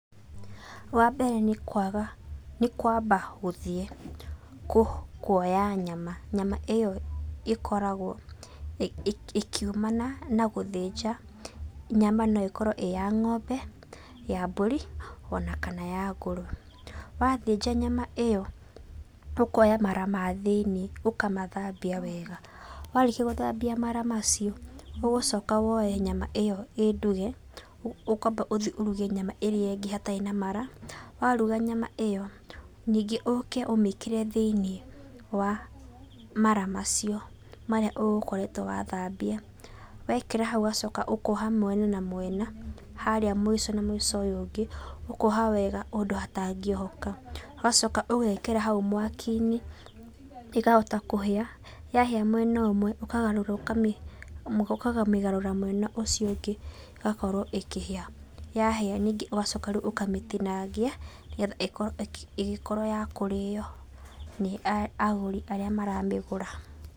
Wa mbere nĩ kwamba gũthiĩ kuoya nyama. Nyama ĩyo ĩkoragwo ĩkiumana na gũthĩnja. Nyama no ĩkorwo ĩya ng'ombe, ya mbũri, ona kana ya ngũrũwe. Wathĩnja nyama ĩyo ũkoya mara ma thĩiniĩ, ũkamathambia wega, warĩkia gũthambia mara macio ũgũcoka woe nyama ĩyo ĩ nduge, ũkwamba gũthiĩ ũruge ĩrĩa ingĩ hatarĩ na mara, waruga nyama ĩyo ningĩ ũke ũmĩkĩre thĩiniĩ wa mara marĩa ũgũkoretwo wa thambia, wekĩra hau ũgacoka ũkoha mwena na mwena, harĩa mũico na mũico ũrĩa ũngĩ ũkoha wega ũndũ hatangĩohoka ũgacoka ũgekĩra hau mwaki-inĩ, ĩkahota kũhĩa, yahĩa mwena ũmwe ũkamĩgarũra mwena ũcio ũngĩ ĩgakorwo ĩkĩhĩa. Yahĩa rĩu ningĩ ũkamĩtinangia, nĩgetha ĩgĩkorwo ya kũrĩyo nĩ agũri arĩa maramĩgũra.